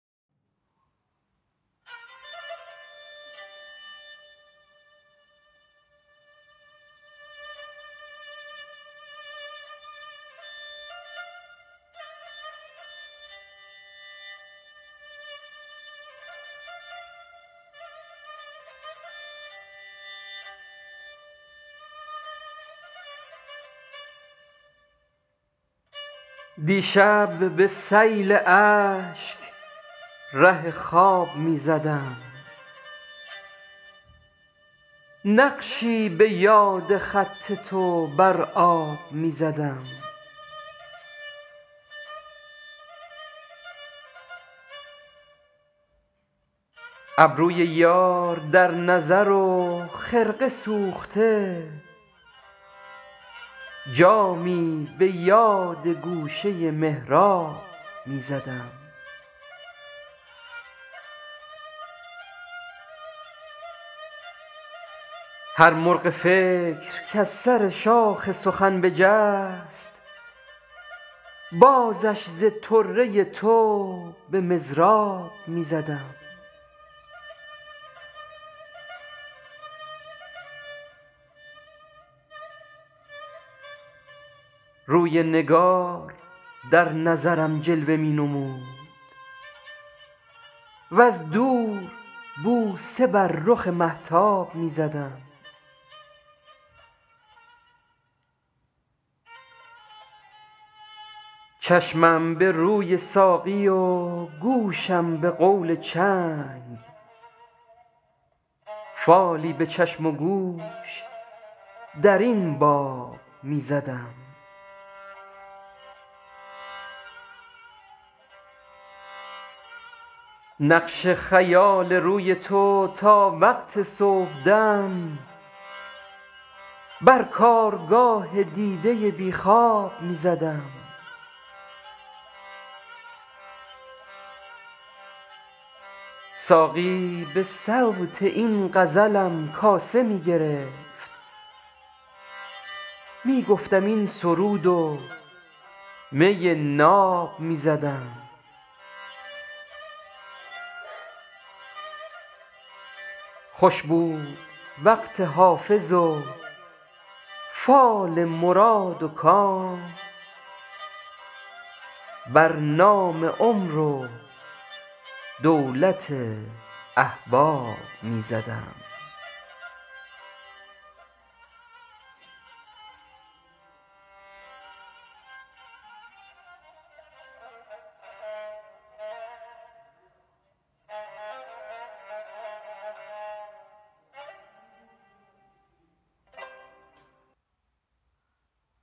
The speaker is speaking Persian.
دیشب به سیل اشک ره خواب می زدم نقشی به یاد خط تو بر آب می زدم ابروی یار در نظر و خرقه سوخته جامی به یاد گوشه محراب می زدم هر مرغ فکر کز سر شاخ سخن بجست بازش ز طره تو به مضراب می زدم روی نگار در نظرم جلوه می نمود وز دور بوسه بر رخ مهتاب می زدم چشمم به روی ساقی و گوشم به قول چنگ فالی به چشم و گوش در این باب می زدم نقش خیال روی تو تا وقت صبحدم بر کارگاه دیده بی خواب می زدم ساقی به صوت این غزلم کاسه می گرفت می گفتم این سرود و می ناب می زدم خوش بود وقت حافظ و فال مراد و کام بر نام عمر و دولت احباب می زدم